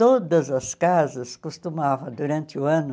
Todas as casas costumavam, durante o ano,